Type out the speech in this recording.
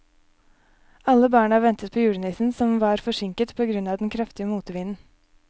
Alle barna ventet på julenissen, som var forsinket på grunn av den kraftige motvinden.